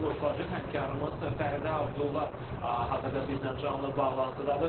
Həmkarımız Fəridə Abdulla hazırda bizdən canlı bağlantıdadır.